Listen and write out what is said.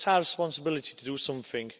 It's our responsibility to do something.